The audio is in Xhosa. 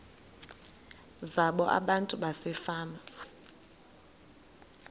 zabo abantu basefama